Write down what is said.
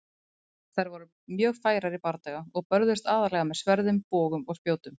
Þær voru mjög færar í bardaga og börðust aðallega með sverðum, bogum og spjótum.